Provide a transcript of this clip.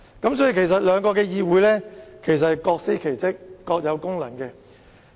因此，兩個議會其實是各司其職，各有功能。